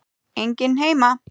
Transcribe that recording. Enginn heima!